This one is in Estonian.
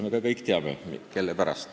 Me kõik teame, kelle pärast.